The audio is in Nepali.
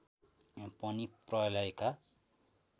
पनि प्रलयका